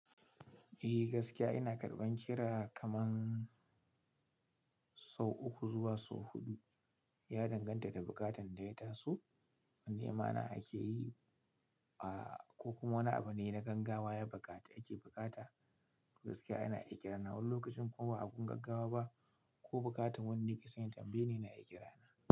Eh gaskiya ina karɓan kira kaman sau uku zuwa sau huɗu, ya danganta da bukatan da ya taso. In nema na ake yi a a ko kuma wani abu ne na gaggawa ya baƙati ake buƙata. Gaskiya ina iya ƙira na wani lokacin ko ba abun gaggawa ba ko bukatan wanda yake son ya tambaye ni yana iya kirana.